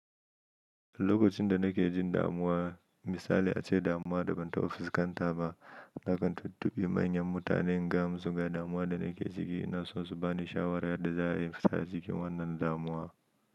Lokacin da nake jin damuwa, misali ace damuwa da ban taɓa fuskanta ba, nakan tuntubi manyan mutane in gaya musu ga damuwa da nake ciki ina so su bani shawara yadda za a yi in fita a cikin wannan damuwa.